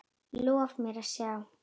Lof mér sjá